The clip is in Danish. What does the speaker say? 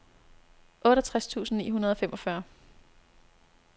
otteogtres tusind ni hundrede og femogfyrre